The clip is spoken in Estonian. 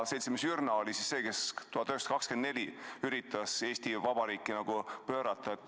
Seltsimees Jürna oli see, kes aastal 1924 üritas Eesti Vabariiki pöörata.